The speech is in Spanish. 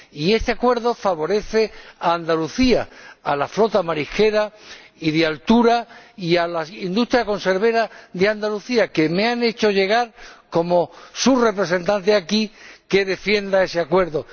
Y este acuerdo favorece a Andalucía, a la flota marisquera y de altura y a la industria conservera de Andalucía, quienes me han hecho llegar como su representante aquí su deseo de que defienda ese acuerdo.